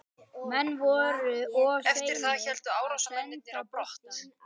Menn voru of seinir að senda boltann.